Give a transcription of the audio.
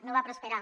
no va prosperar